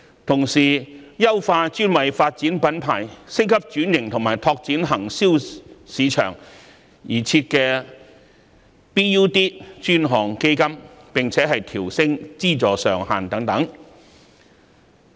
同時，當局也應優化專為發展品牌、升級轉型及拓展內銷市場而設的 BUD 專項基金，並調升其資助上限。